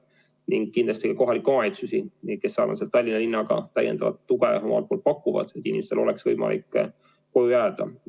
Ning kindlasti tunnustan ka kohalikke omavalitsusi, kes eesotsas Tallinna linnaga täiendavat tuge pakuvad, et inimestel oleks võimalik koju jääda.